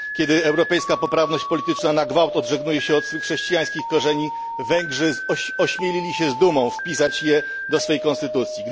Kiedy europejska poprawność polityczna na gwałt odżegnuje się od swych chrześcijańskich korzeni, Węgrzy ośmielili się z dumą wpisać je do swej konstytucji.